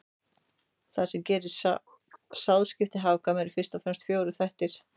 Það sem gerir sáðskipti hagkvæm eru fyrst og fremst fjórir þættir.